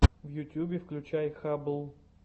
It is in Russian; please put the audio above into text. в ютюбе включай хаббл